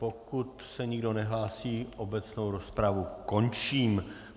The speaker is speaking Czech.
Pokud se nikdo nehlásí, obecnou rozpravu končím.